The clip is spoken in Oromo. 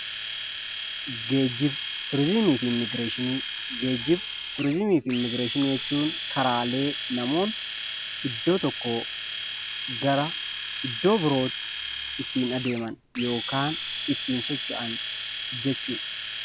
Geejiba, turizimii fi immigireeshinii Geejiba, turizimii fi immigireeshinii jechuun karaalee iddoo tokkoo gara iddoo birootti ittiin adeeman yookaan ittiin socho'an jechuudha.